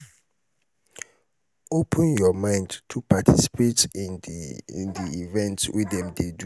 open your mind to participate in di in di events wey dem dey do